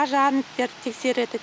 пожарниктер тексереді